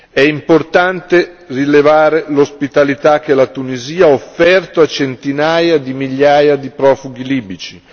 È importante rilevare l'ospitalità che la Tunisia ha offerto a centinaia di migliaia di profughi libici.